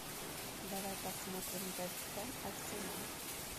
давай посмотрим вест хэм арсенал